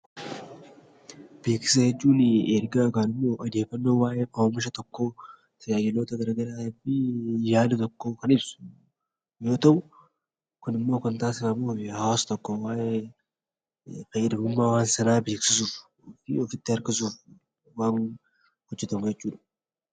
Beeksisa jechuun ergaa yookaan odeeffannoo oomisha tokkoo tajaajila garaagaraa fi yaada tokko kan ibsu yoo ta'u, kun immoo kan taasifamu hawaasa itti fayyadamummaa hawaasa sanaa beeksisuun akka hojjetu godhuudha.